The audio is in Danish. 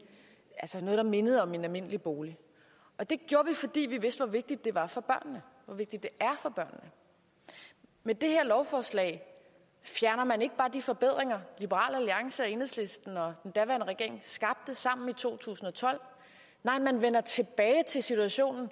noget der mindede om en almindelig bolig og det gjorde vi fordi vi vidste hvor vigtigt det var for børnene hvor vigtigt det med det her lovforslag fjerner man ikke bare de forbedringer liberal alliance og enhedslisten og den daværende regering skabte sammen i to tusind og tolv nej man vender tilbage til situationen